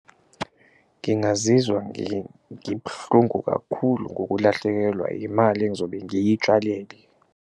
Ngingazizwa ngibuhlungu kakhulu ngokulahlekelwa imali engizobe ngiyitshalile.